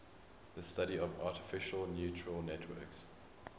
the study of artificial neural networks